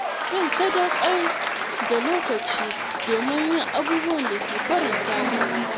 Zan sadaukar da lokaci don yin abubuwan da ke faranta min rai.